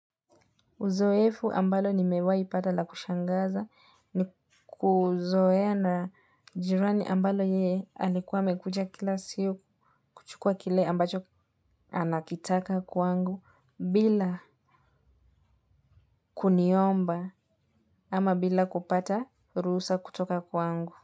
Zoefu ambalo nimewahi pata la kushangaza ni kuzoea na jirani ambalo yeye alikuwa amekuja kila siku kuchukua kile ambacho anakitaka kwangu bila kuniomba ama bila kupata ruhusa kutoka kwangu.